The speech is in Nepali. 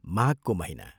माघको महीना।